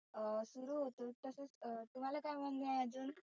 अं सुरु होतात. अं तुम्हाला काय म्हणनं आहे आजुन?